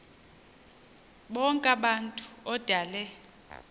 bonk abantu odale